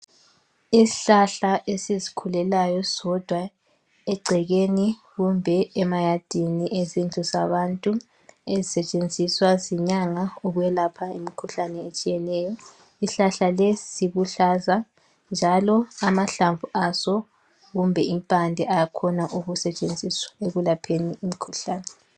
Isihlahla esizikhulelayo sodwa egcekeni kumbe emayadini ezindlu zabantu .Ezisetshenziswa zinyanga ukwelapha imkhuhlane etshiyeneyo. Isihlahla lesi siluhlaza njalo amahlamvu aso kumbe impande ayakhona ukusetshenziswa ekwelapheni imkhuhlane .